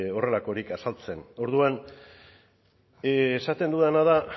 horrelakorik azaltzen orduan esaten dudana da